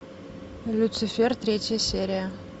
люцифер третья серия